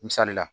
Misali la